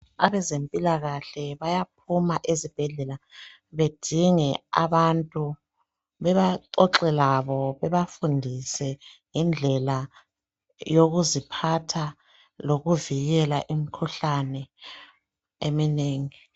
Abezempilakahle bayaphuma ezibhedlela, bedinge abantu baxoxe labo bebafundise ngendlela yokuziphatha lokuvikela imikhuhlane eminengi.